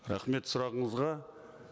рахмет сұрағыңызға